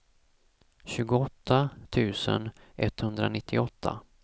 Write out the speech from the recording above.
tjugoåtta tusen etthundranittioåtta